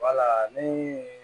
Wala ni